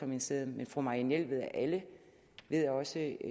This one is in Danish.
ministeriet men fru marianne jelved af alle ved også